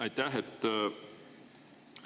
Aitäh!